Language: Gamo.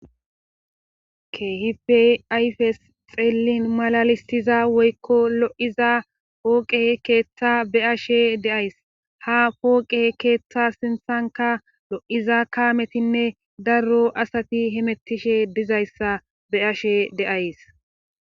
keehipey ayfes xeellin malalistiza woykko lo7iza pooqe keeththa beashe deays ha pooqe keeththa sinthanka lo7iza kaametinne darro asati himettishe dizayssa be ashe deays